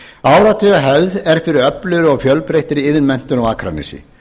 áratugahefð er fyrir öflugri og fjölbreyttri iðnmenntun á akranesi